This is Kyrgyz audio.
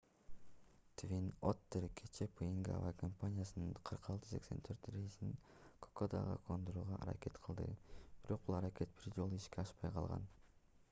твин оттер кечээ пнг авиакомпаниясынын 4684 рейсин кокодага кондурууга аракет кылды бирок бул аракет бир жолу ишке ашпай калган